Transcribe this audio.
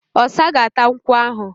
Ọ̀sa ga-áta nkwú ahụ